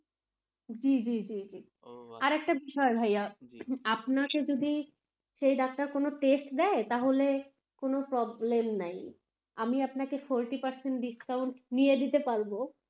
জী জী জী জী, আরেকটা বিষয় ভাইয়া, আপনাকে যদি সেই ডাক্তার কোনো test দেয় তাহলে কোনো problem নাই আমি আপনাকে forty percent discount দিয়ে দিতে পারব.